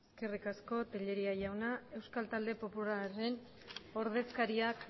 eskerrik asko tellería jauna euskal talde popularraren ordezkariak